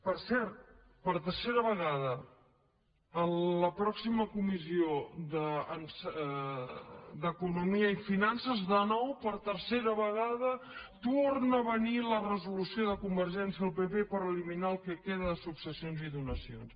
per cert per tercera vegada en la pròxima comissió d’economia i finances de nou per tercera vegada torna a venir la resolució de convergència i del pp per eliminar el que queda de successions i donacions